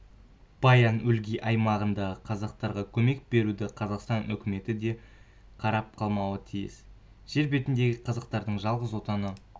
баян-өлгий аймағындағы қазақтарға көмек беруде қазақстан үкіметі де қарап қалмауы тиіс жер бетіндегі қазақтардың жалғыз отаны